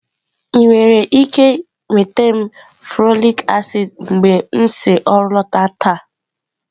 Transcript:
Ị nwere ike nweta m folik acid mgbe m si ọrụ lọta taa?